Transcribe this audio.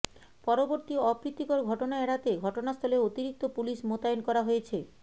পরবর্তী অপ্রীতিকর ঘটনা এড়াতে ঘটনাস্থলে অতিরিক্ত পুলিশ মোতায়েন করা হয়েছে